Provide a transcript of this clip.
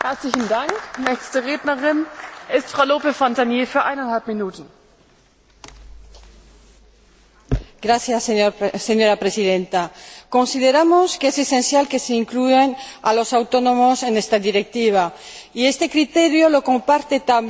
Señora Presidenta, consideramos que es esencial que se incluya a los autónomos en esta Directiva y este criterio lo comparten también en mi país tanto los representantes sindicales como la patronal, que nos han pedido expresamente la inclusión de los autónomos en esta Directiva.